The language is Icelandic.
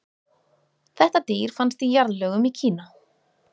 þetta dýr fannst í jarðlögum í kína